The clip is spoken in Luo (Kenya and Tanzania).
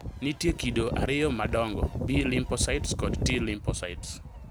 Nitie kido ariyo madongo, B lymphocytes kod T lymphocytes